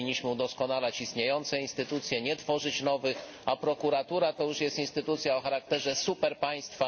Powinniśmy udoskonalać istniejące instytucje, nie tworzyć nowych, a prokuratura to już jest instytucja o charakterze superpaństwa.